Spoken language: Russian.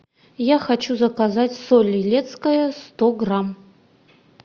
я хочу заказать соль илецкая сто грамм